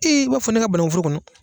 i b'a fɔ ne ka banaku foro kɔnɔ